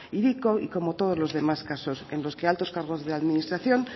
hiriko y como todos los demás casos en los que altos cargos de la administración